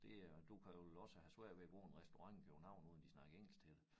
Det er og du kan vel også have svært ved at gå på en restaurant i København uden de snakker engelsk til dig